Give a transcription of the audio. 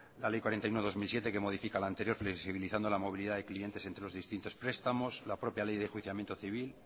la ley cuarenta y uno barra dos mil siete que modifica la anterior flexibilizando la movilidad de clientes entre los distintos prestamos la propia ley de enjuiciamiento civil